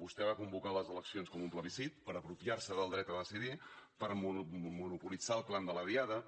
vostè va convocar les eleccions com un plebiscit per apropiar se del dret a decidir per monopolitzar el clam de la diada